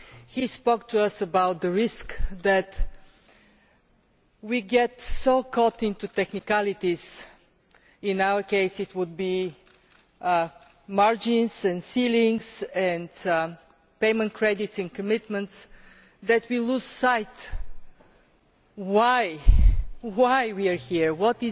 He spoke to us about the risk that we get so caught up in technicalities in our case it would be margins and ceilings and payment credits and commitments that we lose sight of why we are here and what